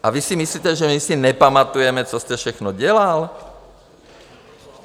A vy si myslíte, že my si nepamatujeme, co jste všechno dělal?